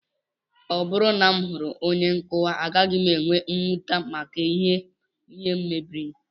Ọ bụrụ na m hụrụ onye nkụkwa, agaghị m enwe mwute maka ihe m mebiri